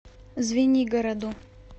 звенигороду